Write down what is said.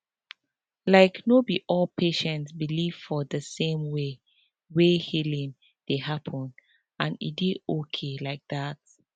like no be all patients believe for the same way wey healing dey happen and e dey okay like that